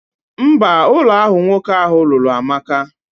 Mba, Ulo ahu nwoke ahu lulu amaka.